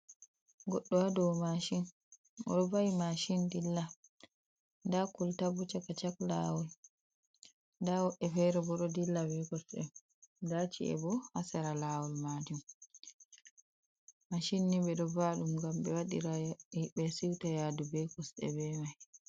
Goɗɗo hadau mashin. Oɗo va'i mashin dilla. Nda koltaya bo ha chaka chak lawol . Nda woɓɓe fere bo ɗo dilla be kosɗe, nda ci’e bo ha sera lawol majum. Mashin ni ɓe ɗo va'a ɗum gam ɓe siuta yadu be mai.